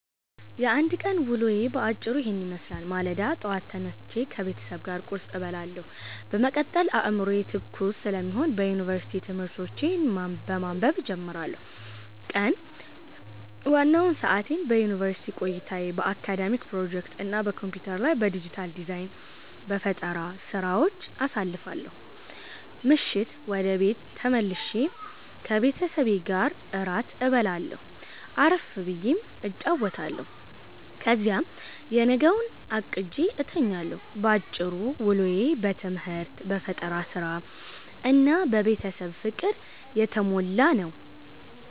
የአንድ ቀን ውሎዬ በአጭሩ ይህንን ይመስላል፦ ማለዳ፦ ጠዋት ተነስቼ ከቤተሰብ ጋር ቁርስ እበላለሁ፤ በመቀጠል አዕምሮዬ ትኩስ ስለሚሆን የዩኒቨርሲቲ ትምህርቶቼን በማንበብ እጀምራለሁ። ቀን፦ ዋናውን ሰዓቴን በዩኒቨርሲቲ ቆይታዬ፣ በአካዳሚክ ፕሮጀክቶች እና በኮምፒውተር ላይ በዲጂታል ዲዛይን/በፈጠራ ሥራዎች አሳልፋለሁ። ምሽት፦ ወደ ቤት ተመልሼ ከቤተሰቤ ጋር እራት እበላለሁ፣ አረፍ ብዬ እጫወታለሁ፤ ከዚያም የነገውን አቅጄ እተኛለሁ። ባጭሩ፤ ውሎዬ በትምህርት፣ በፈጠራ ሥራ እና በቤተሰብ ፍቅር የተሞላ ነው።